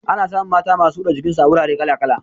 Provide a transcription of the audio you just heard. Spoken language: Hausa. Ana samun mata masu huda jikin su a wurare kala kala